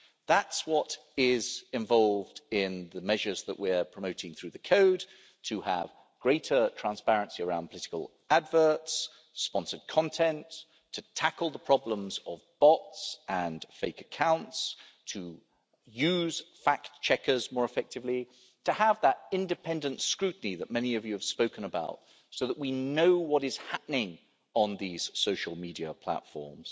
That's what is involved in the measures that we are promoting through the Code, to have greater transparency around political adverts, sponsored content, to tackle the problems of bots and fake accounts, to use fact checkers more effectively, to have that independent scrutiny that many of you have spoken about, so that we know what is happening on these social media platforms,